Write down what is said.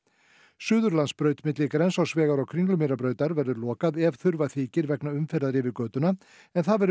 Suðurlandsbraut milli Grensásvegar og Kringlumýrarbrautar verður lokað ef þurfa þykir vegna umferðar yfir götuna en það verður